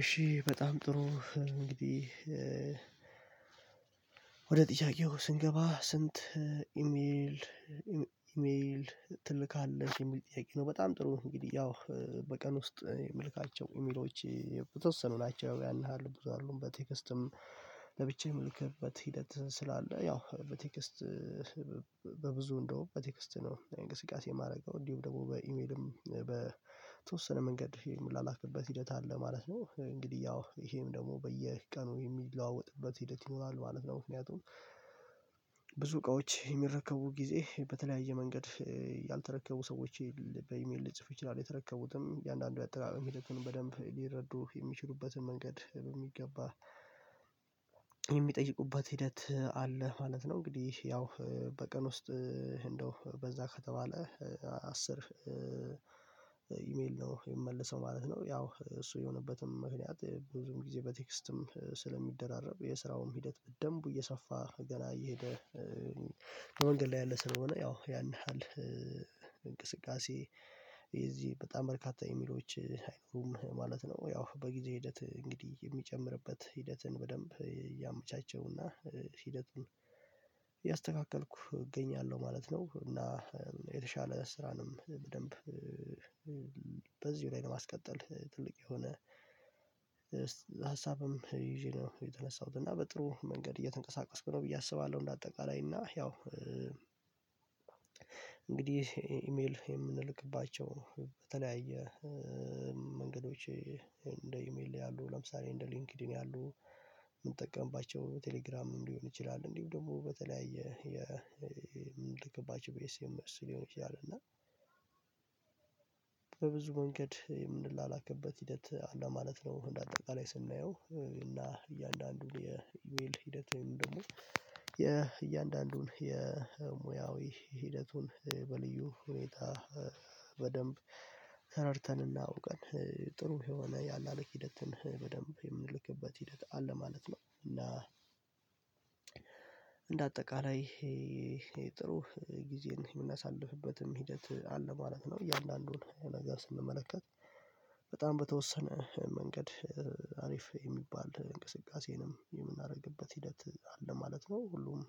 እሺ በጣም ጥሩ እንግዲህ ወደ ጥያቄው ስንገባ ስንት ኢሜል ኢም ኢሜል ትልካለህ የሚል ጥያቄ ነው? በጣም ጥሩ እንግዲህ ያው በቀን ውስጥ የምልካቸው ኢሜሎች ያው የተወሰኑ ናቸው ያን ያህል ብዙ አይደሉም በቴክስትም ለብቻዬም የምልክበት ሂደት ስላለ ያው በቴክስት በብዙ እንደውም በቴክስት ነው እንግስቃሴ የማደርገው እንዲሁም ደግሞ በኢሜልም በተወሰነ መንገድ የምላላክበት ሂደት አለ ማለት ነው። እንግዲህ ያው ይሄም ደግሞ በየቀኑ የሚለዋወጥበት ሂደት ይኖራል ማለት ነው። ምክንያቱም ብዙ እቃዎች የሚረከቡ ጊዜ በተለያየ መንገድ ያልተረከቡ ሰዎች ል በኢሜል ልጽፍ እችላለሁ የተረከቡትም እያንዳንዱ የአጠቃቀም ሂደቱን በደንብ ሊረዱ የሚችሉበትን መንገድ በሚገባ የሚጠይቁበት ሂደት አለ ማለት ነው። እንግዲህ ያው በቀን ውስጥ እንደው በዛ ከተባለ አስር ኢሜል ነው የምመልሰው ማለት ነው። ያው እሱ የሆነበትም ምክንያት ብዙም ጊዜ በቴክስትም ስለሚደራረብ የስራውን ሂደት በደንብ እየሰፋ ገና እየሄደ በመንገድ ላይ ያለ ስለሆነ ያው ያን ያህል እንቅስቃሴ በጣም በርካታ ኢሚሎች አይኖሩም ማለት ነው። ያው በጊዜ ሂደት እንግዲህ የሚጨምርበት ሂደትን በደንብ እያመቻቸውና ሂደቱን እያስተካከልኩ እገኛለሁ ማለት ነው። እና የተሻለ ስራንም በደንብ በዚሁ ላይ ነው ለማስቀጠል ትልቅ የሆነ ሀሳብም ይዤ ነው የተነሳሁት እና በጥሩ መንገድ እየተንቀሳቀስኩ ነው ብዬ አስባለሁ። እንደ አጠቃላይ እና ያው እንግዲህ ኢሜል የምንልክባቸው በተለያየ መንገዶች እንደ ኢሜል ያሉ ለምሳሌ እንደ ሊንክድኢን ያሉ የምንጠቀምባቸው ቴሌግራም ሊሆን ይችላል እንዲሁ ደግሞ በተለያየ የምንልክባቸው በኤስ ኤም ኤስ ሊሆን ይችላል እና በብዙ መንገድ የምንላላክበት ሂደት ማለት ነው። እንደ አጠቃላይ ስናየው እና እያንዳንዱን የኢሜል ሂደት ወይም ደግሞ የእያንዳንዱን የሙያዊ ሂደቱን በልዩ ሁኔታ በደንብ ተረድተንና እውቀን ጥሩ የሆነ ያላላክ ሂደትን በደንብ የምንልክበት ሂደት አለ ማለት ነው። እና እንደ አጠቃላይ ጥሩ ጊዜን የምናሳልፍበትም ሂደት አለ ማለት ነው። እያንዳንዱን ነገር ስንመለከት በጣም በተወሰነ መንገድ አሪፍ የሚባል እንቅስቃሴንም የምናደርግበት ሂደት አለ ማለት ነው። ሁሉም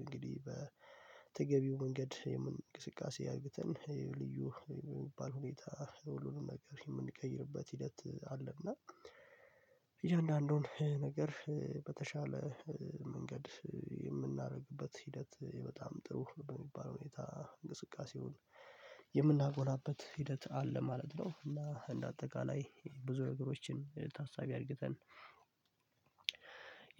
እንግዲህ በተገቢው መንገድ የምን እንቅስቃሴ አድርገን ልዩ የሚባል ሁኔታ ሁሉንም ነገር የምንቀይርበት ሂደት አለ እና እያንዳንዱን ነገር በተሻለ መንገድ የምናደርግበት ሂደት በጣም ጥሩ በሚባለው ሁኔታ እንቅስቃሴውን የምናጎላበ ሂደት አለ ማለት ነው። እና እንደ አጠቃላይ ብዙ ነገሮችን ታሳቢ አድርገን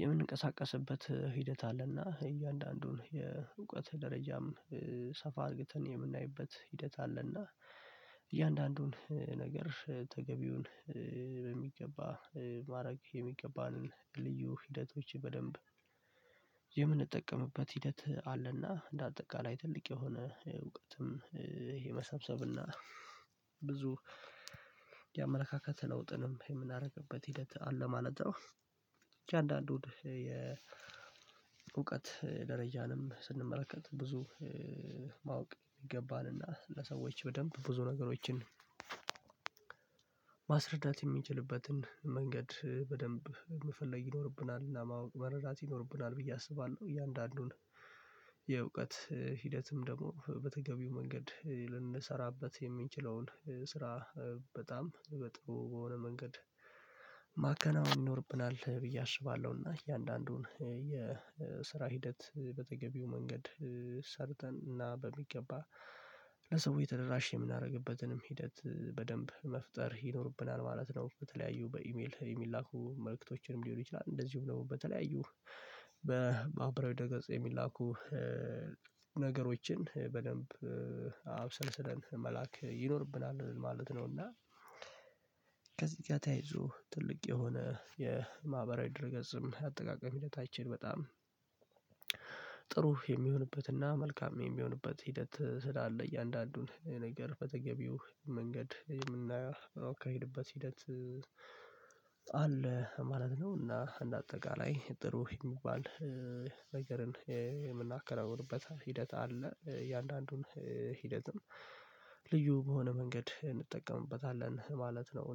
የምንቀሳቀስበት ሂደት አለ እና እያንዳንዱን የእውቀት ደረጃም ሰፋ አድርገን የምናይበት ሂደት አለ እና ነገር ተገቢውን በሚገባ ማድረግ የሚገባንን ልዩ ሂደቶች በደንብ የምንጠቀምበት ሂደት አለ እና እንደ አጠቃላይ ትልቅ የሆነ እውቀትም የመሰብሰብ እና ብዙ የአመለካከት ለውጥንም የምናደርግበት ሂደት አለ ማለት ነው። እያንዳንዱን የእውቀት ደረጃንም ስንመለከት ብዙ ማወቅ ይገባልና ለሰዎች በደንብ ብዙ ነገሮችን ማስረዳት የምንችልበትን መንገድ በደንብ መፈለግ ይኖርብናልና እና ማወቅ መረዳት ይኖርብናል ብዬ አስባለሁ። እያንዳንዱን የእውቀት ሂደትም ደግሞ በተገቢው መንገድ ልንሰራበት የምንችለውን ስራ በጣም በጥሩ በሆነ መንገድ ማከናወን ይኖርብናል ብዬ አስባለሁና። እያንዳንዱን የስራ ሂደት በተገቢው መንገድ ሰርተን እና በሚገባ ለሰው ተደራሽ የምናደርግበትንም ሂደት በደንብ መፍጠር ይኖርብናል ማለት ነው። በተለያዩ በኢሜል ኢሜል የሚላኩ መልእክቶችንም ሊሆን ይችላል እንደዚሁም ደግሞ በተለያዩ በማህበራዊ ድረገጽ የሚላኩ ነገሮችን በደንብ አብሰልስለን መላክ ይኖርብናል ማለት ነው። እና ከዚህ ጋር ተያይዞ ትልቅ የሆነ የማህበራዊ ድረ ገጽም አጠቃቀም ሂደታችን በጣም የሚሆንበት እና መልካም የሚሆንበት ሂደት ስላለ እያንዳንዱን ነገር በተገቢው መንገድ የምናካሄድበት ሂደት አለ ማለት ነው። እና እንደ አጠቃላይ ጥሩ የሚባል ነገርን የምናከናውንበት ሂደት አለ እያንዳንዱን ሂደትም ልዩ በሆነ መንገድ እንጠቀምበታለን ማለት ነው